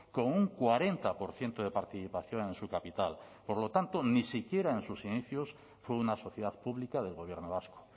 con un cuarenta por ciento de participación en su capital por lo tanto ni siquiera en sus inicios fue una sociedad pública del gobierno vasco